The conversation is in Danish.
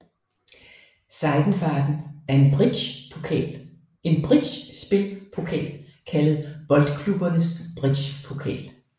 Seidenfaden en bridgespil pokal kaldet Boldklubbernes Bridgepokal